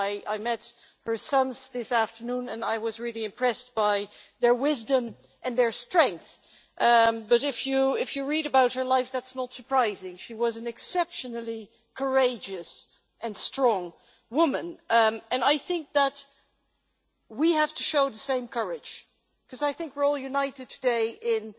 I met her sons this afternoon and I was really impressed by their wisdom and their strength, but if you read about her life, that's not surprising. She was an exceptionally courageous and strong woman, and I think that we have to show the same courage, because I think we are all united today in